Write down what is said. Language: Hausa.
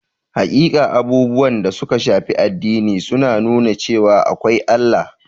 Hakika, abubuwan da suka shafi addini sun nuna cewa akwai Allah.